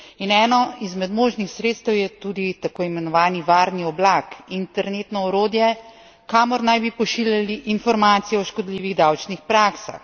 In eno izmed možnih sredstev je tudi tako imenovani varni oblak, internetno orodje, kamor naj bi pošiljali informacije o škodljivih davčnih praksah.